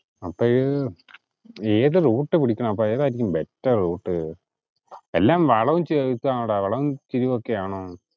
അപ്പഴ്, ഏതു route പിടിക്കണം അപ്പൊ ഏതാരിക്കും better route? എല്ലാം വളവും തിരിവും ~ വളവും തിരിവും ഒക്കെ ആണോന്ന്?